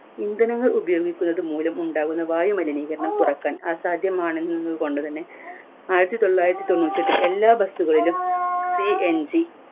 ഇന്ധനങ്ങൾ ഉപയോഗിക്കുന്നത് മൂലം ഉണ്ടാകുന്ന വായുമലിനീകരണം കുറക്കാൻ അസാധ്യമാണെന്ന് കൊണ്ടുതന്നെ ആയിരത്തിത്തൊള്ളായിരത്തി തൊണ്ണൂറ്റേട്ടിൽ എല്ലാ bus ഉകളിലും CMG